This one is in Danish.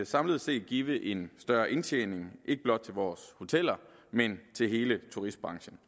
samlet set give en større indtjening ikke blot til vores hoteller men til hele turistbranchen